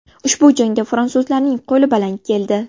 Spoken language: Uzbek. Ushbu jangda fransuzlarning qo‘li baland keldi.